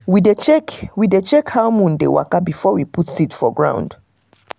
we dey check we dey check how moon dey waka before we put seed for ground.